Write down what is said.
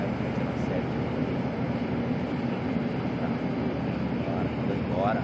Aí teve aquela série de confusão, ela pegou minhas coisas, jogou tudo para a rua, fora mandou embora.